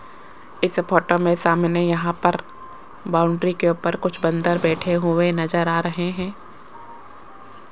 इस फोटो में सामने यहां पर बाउंड्री के ऊपर कुछ बंदर बैठे हुए नजर आ रहे हैं।